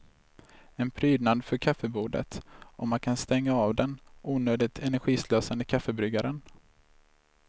En prydnad för kaffebordet, och man kan stänga av den onödigt energislösande kaffebryggaren.